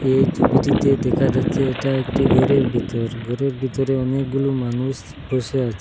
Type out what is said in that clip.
এই ছবিটিতে দেখা যাচ্ছে এটা একটি ঘরের বিতর ঘরের বিতরে অনেকগুলো মানুষ বসে আছে।